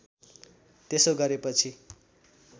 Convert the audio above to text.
त्यसो गरेपछि